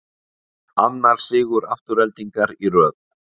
Annar sigur Aftureldingar í röð